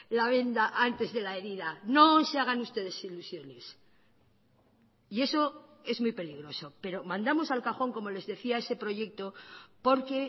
la venda antes de la herida no se hagan ustedes ilusiones y eso es muy peligroso pero mandamos al cajón como les decía ese proyecto porque